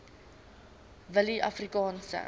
willieafrikaanse